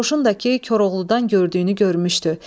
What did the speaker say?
Qoşun da ki, Koroğludan gördüyünü görmüşdü.